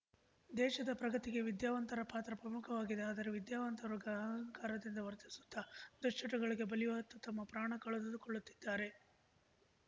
ದೇಶದ ಪ್ರಗತಿಗೆ ವಿದ್ಯಾವಂತರ ಪಾತ್ರ ಪ್ರಮುಖವಾಗಿದೆ ಆದರೆ ವಿದ್ಯಾವಂತ ರ್ಗ ಅಹಂಕಾರದಿಂದ ವರ್ತಿಸುತ್ತ ದುಶ್ಚಟಗಳಿಗೆ ಬಲಿಯಾತ್ತಾ ತಮ್ಮ ಪ್ರಾಣ ಕಳೆದುಕೊಳ್ಳುತ್ತಿದ್ದಾರೆ